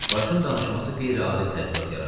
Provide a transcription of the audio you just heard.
Başın danışması qeyri-adi təəssürat yaratdı.